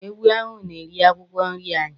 Ewu ahụ na-eri akwụkwọ nri anyị.